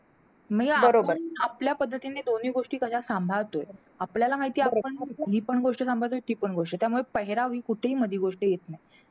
मग या आपण आपल्या पद्धतीने दोन्ही गोष्टी कशा सांभाळतो? आपल्याला माहितीये आपण हि पण गोष्ट सांभाळतो आणि ती पण गोष्ट. त्यामुळे पेहेराव हि कुठेही मध्ये गोष्ट येत नाही.